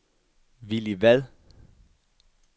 Villy Vad